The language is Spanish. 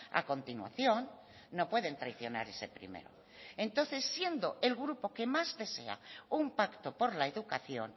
a continuación no pueden traicionar ese primero entonces siendo el grupo que más desea un pacto por la educación